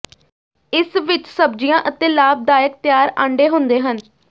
ਇਸ ਵਿਚ ਸਬਜ਼ੀਆਂ ਅਤੇ ਲਾਭਦਾਇਕ ਤਿਆਰ ਆਂਡੇ ਹੁੰਦੇ ਹਨ